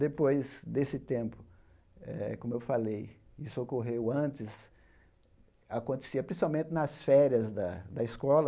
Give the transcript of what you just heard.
Depois desse tempo eh, como eu falei, isso ocorreu antes, acontecia principalmente nas férias da da escola.